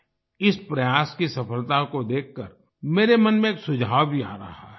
इस प्रयास की सफलता को देखकर मेरे मन में एक सुझाव भी आ रहा है